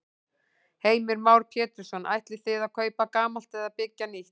Heimir Már Pétursson: Ætlið þið að kaupa gamalt eða byggja nýtt?